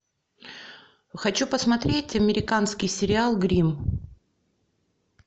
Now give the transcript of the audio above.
хочу посмотреть американский сериал гримм